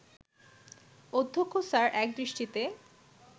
অধ্যক্ষ স্যার একদৃষ্টিতে